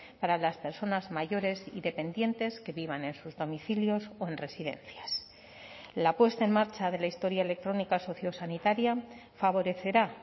para las personas mayores y dependientes que vivan en sus domicilios o en residencias la puesta en marcha de la historia electrónica sociosanitaria favorecerá